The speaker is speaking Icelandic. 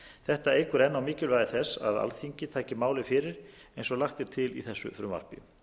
þetta eykur enn á mikilvægi þess að alþingi takið málið fyrir eins og lagt er til í þessu frumvarpi